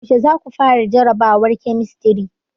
Yaushe za ku fara jarabawar kemistri?